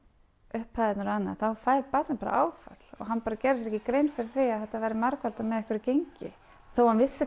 upphæðirnar og annað þá fær barnið bara áfall hann bara gerði sér ekki grein fyrir því að þetta væri margfaldað með einhverju gengi þótt hann vissi